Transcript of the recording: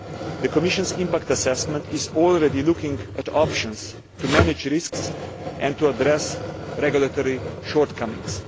The Commission's impact assessment is already looking at options to manage risks and to address regulatory shortcomings.